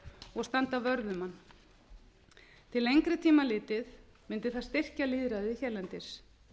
og standa vörð um hann til lengri tíma litið mundi það styrkja lýðræði hérlendis